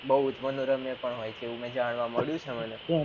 બુજ ઉત્પાનોરમય પણ હોય છે એવું મને જાણવા મળ્યું છે મને